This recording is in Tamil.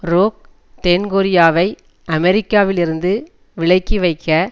ரோக் தென் கொரியாவை அமெரிக்காவிலிருந்து விலக்கிவைக்க